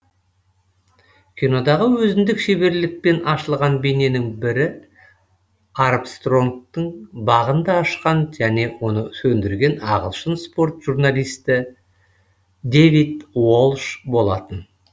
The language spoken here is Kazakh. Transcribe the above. кинодағы өзіндік шеберлікпен ашылған бейненің бірі армстронгтың бағын да ашқан және оны сөндірген ағылшын спорт журналисті дэвид уолш болатын